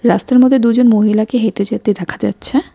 রাস্তার মধ্যে দুজন মহিলাকে হেঁটে যেতে ধেকা যাচ্ছে।